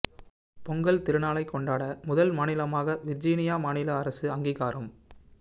பொங்கல் திருநாளை கொண்டாட முதல் மாநிலமாக விர்ஜீனியா மாநில அரசு அங்கீகாரம்